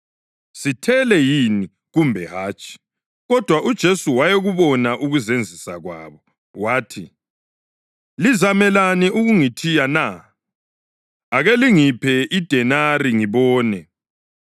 Sithele yini kumbe hatshi?” Kodwa uJesu wayekubona ukuzenzisa kwabo, wathi, “Lizamelani ukungithiya na? Ake lingiphe idenari ngibone.”